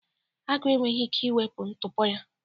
Agụ enweghị ike ịwụpụ ntụpọ ya